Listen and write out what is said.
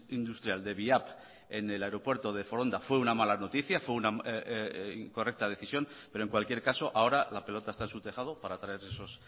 industrial de viap en el aeropuerto de foronda fue una mala noticia fue una incorrecta decisión pero en cualquier caso ahora la pelota está en su tejado para traer esos